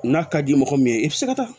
N'a ka di mɔgɔ min ye i bɛ se ka taa